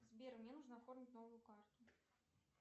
сбер мне нужно оформить новую карту